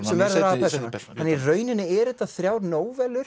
sem verður aðalpersónan í rauninni eru þetta þrjár